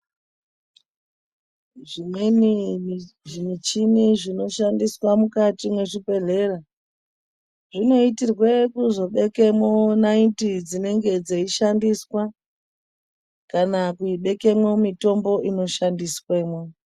Zvimweni zvimichini zvinoshandiswa mukati mwezvibhedhlera zvinoitirwe kuzobekemwo naiti dzinenge dzeishandiswa, kana kubekemwo mitombo inoshandiswemwo.